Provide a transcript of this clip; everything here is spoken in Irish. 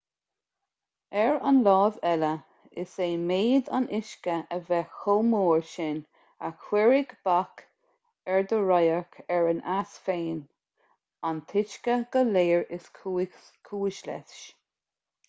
ar an láimh eile is é méid an uisce a bheith chomh mór sin a chuirfidh bac ar do radharc ar an eas féin-an t-uisce go léir is cúis leis